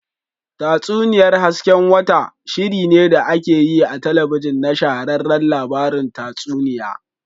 Tatsuniyar hasken wata, shirinne da ake yi a talabijin na shahararren labarun tatsuniya.